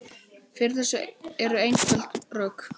Fyrir þessu eru einföld rök.